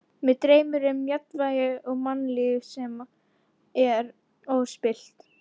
Mig dreymir um jafnvægi og mannlíf sem er óspillt.